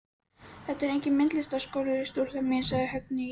Þetta er enginn myndlistarskóli, stúlka mín sagði Högni ískaldri röddu.